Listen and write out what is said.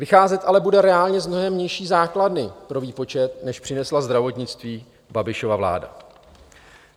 Vycházet ale bude reálně z mnohem nižší základny pro výpočet, než přinesla zdravotnictví Babišova vláda.